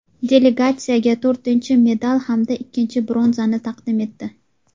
delegatsiyaga to‘rtinchi medal hamda ikkinchi bronzani taqdim etdi;.